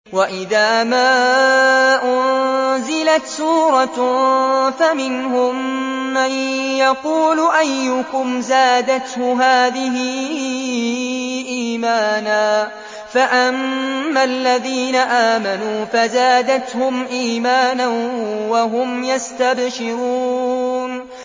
وَإِذَا مَا أُنزِلَتْ سُورَةٌ فَمِنْهُم مَّن يَقُولُ أَيُّكُمْ زَادَتْهُ هَٰذِهِ إِيمَانًا ۚ فَأَمَّا الَّذِينَ آمَنُوا فَزَادَتْهُمْ إِيمَانًا وَهُمْ يَسْتَبْشِرُونَ